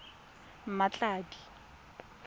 mmatladi